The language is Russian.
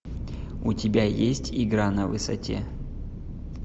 у тебя есть игра на высоте